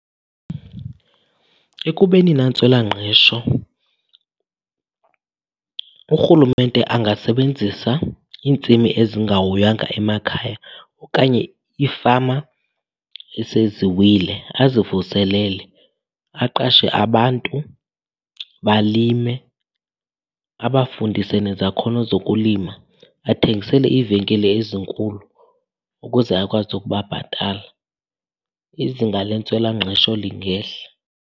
Ekubeni nentswelangqesho urhulumente angasebenzisa intsimi ezingahoywanga emakhaya okanye iifama isenziwile azivuselekile. Aqashe abantu, balime, abafundise nezakhono zokulima. Bathengisele iivenkile ezinkulu ukuze akwazi ukubabhatala. Izinga lwentswelangqesho lingehla.